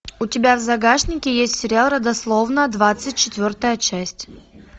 у тебя в загашнике есть сериал родословная двадцать четвертая часть